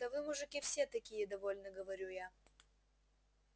да вы мужики все такие довольно говорю я